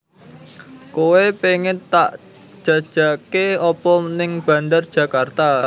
Koe pengen tak jajake opo ning Bandar Djakarta